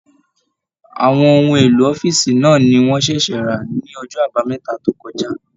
Àwọn ohun èlò ọ̀fiísí náà ní wọn ṣẹṣẹ ra ní ọjọ àbámẹ́ta tó kọjá.